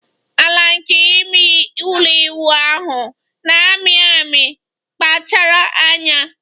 Ala nke ime ụlọ ịwụ ahụ na-amị amị, kpachara anya.